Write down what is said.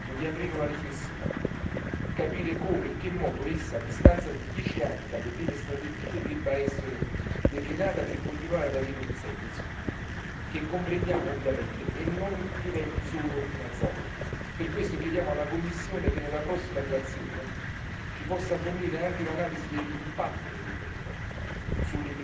sia giunto il momento di aprire una riflessione, ovvero capire come e in che modo essa, a distanza di dieci anni dalle prime strategie, debba essere declinata per continuare ad avere un senso che comprendiamo, e non diventi solo una zavorra. Per questo chiediamo alla Commissione che nella prossima relazione ci possa fornire anche l'analisi dell'impatto dei tre